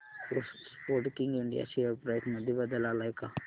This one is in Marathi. स्पोर्टकिंग इंडिया शेअर प्राइस मध्ये बदल आलाय का